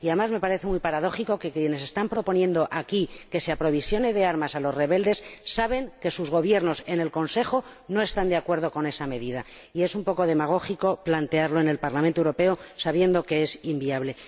Además, me parece muy paradójico que quienes están proponiendo aquí que se aprovisione de armas a los rebeldes saben que sus Gobiernos en el Consejo no están de acuerdo con esa medida, y es un poco demagógico plantearlo en el Parlamento Europeo sabiendo que es inviable.